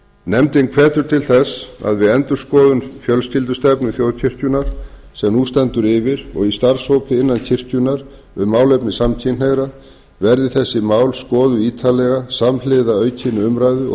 nefndin hvetur til þess að við endurskoðun fjölskyldustefnu þjóðkirkjunnar sem nú stendur yfir og í starfshópi innan kirkjunnar um málefni samkynhneigðra verði þessi mál skoðuð ítarlega samhliða aukinni umræðu og